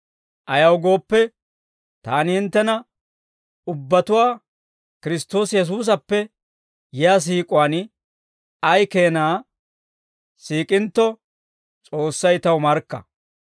Ayaw gooppe, taani hinttena ubbatuwaa Kiristtoosi Yesuusappe yiyaa siik'uwaan ay keenaa siik'intto, S'oossay taw markka.